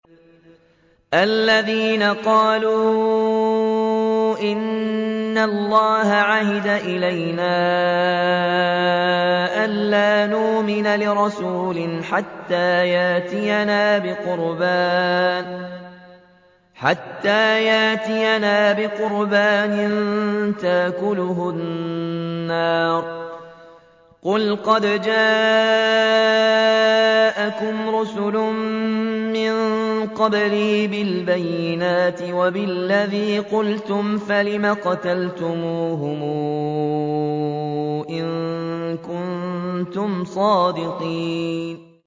الَّذِينَ قَالُوا إِنَّ اللَّهَ عَهِدَ إِلَيْنَا أَلَّا نُؤْمِنَ لِرَسُولٍ حَتَّىٰ يَأْتِيَنَا بِقُرْبَانٍ تَأْكُلُهُ النَّارُ ۗ قُلْ قَدْ جَاءَكُمْ رُسُلٌ مِّن قَبْلِي بِالْبَيِّنَاتِ وَبِالَّذِي قُلْتُمْ فَلِمَ قَتَلْتُمُوهُمْ إِن كُنتُمْ صَادِقِينَ